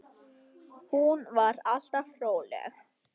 Hún var alltaf róleg.